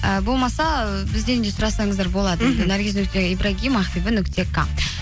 ііі болмаса бізден де сұрасаңыздар болады мхм наргиз нүкте ибрагим ақбибі нүкте ка